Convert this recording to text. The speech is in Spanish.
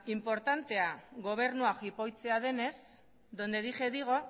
inportantea gobernua jipoitzea denez donde dije digo